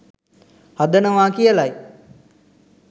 හදනවා කියලයි.